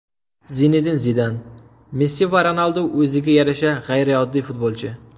Zinedin Zidan: Messi va Ronaldu o‘ziga yarasha g‘ayrioddiy futbolchi.